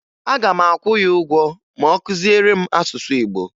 Aga m akwụ ya ụgwọ ma ọ kụziere m asụsụ Igbo